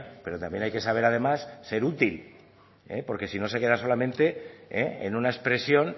pero también hay que saber además ser útil porque si no se queda solamente en una expresión